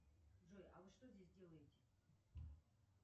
джой а вы что здесь делаете